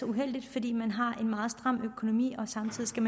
uheldigt fordi man har en meget stram økonomi og samtidig skal